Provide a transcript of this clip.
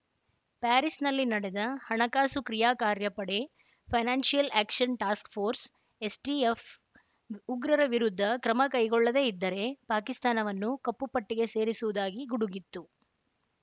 ಪ್ಯಾರಿಸ್‌ನಲ್ಲಿ ನಡೆದ ಹಣಕಾಸು ಕ್ರಿಯಾ ಕಾರ್ಯಪಡೆ financial action task force S TF ಉಗ್ರರ ವಿರುದ್ಧ ಕ್ರಮ ಕೈಗೊಳ್ಳದೇ ಇದ್ದರೆ ಪಾಕಿಸ್ತಾನವನ್ನು ಕಪ್ಪು ಪಟ್ಟಿಗೆ ಸೇರಿಸುವುದಾಗಿ ಗುಡುಗಿತ್ತು